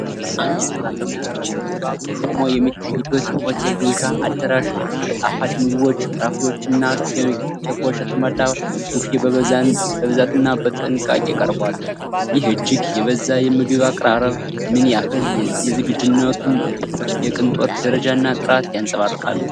አንድ ሰራተኛ ከበስተጀርባ ቆሞ በሚታይበት የሆቴል ግብዣ አዳራሽ፣ በጣፋጭ ምግቦች፣ ፍራፍሬዎችና ኬኮች የተሞላ ቡፌ በብዛትና በጥንቃቄ ቀርቧል፤ ይህ እጅግ የበዛ የምግብ አቀራረብ ምን ያህል የዝግጅቱን የቅንጦት ደረጃና ጥራት ያንፀባርቃል?